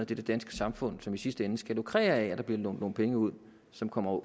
det danske samfund som i sidste ende skal lukrere af at der bliver lånt penge ud som kommer